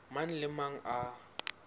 mang le a mang a